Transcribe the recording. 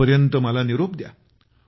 तोपर्यंत मला आता निरोप द्या